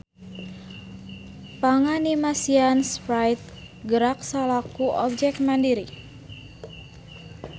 Panganimasian Sprite gerak salaku objek mandiri.